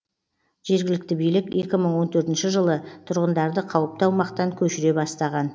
жергілікті билік екі мың он төртінші жылы тұрғындарды қауіпті аумақтан көшіре бастаған